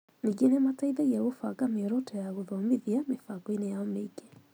Ningĩ nĩ mateithagia kũbanga mĩoroto ya gũthomithia mĩbango-inĩ yao mĩingĩ.